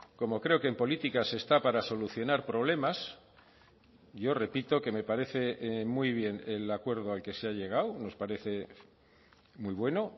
como creo que en política se está para solucionar problemas yo repito que me parece muy bien el acuerdo al que se ha llegado nos parece muy bueno